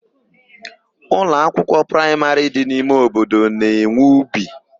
Ụlọakwụkwọ praimarị dị n'ime obodo na-enwe ubi.